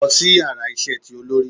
Lọ si íyarà isé tí olori!